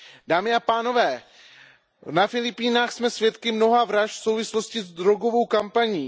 Dámy a pánové, na Filipínách jsme svědky mnoha vražd v souvislosti s drogovou kampaní.